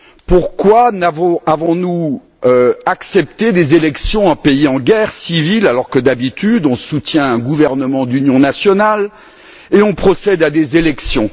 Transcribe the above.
Pourquoi avons nous accepté des élections dans un pays en guerre civile, alors que d'habitude, on soutient un gouvernement d'union nationale puis on procède à des élections?